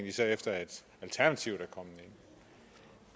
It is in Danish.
især efter at alternativet